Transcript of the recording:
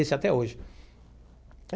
Esse até hoje.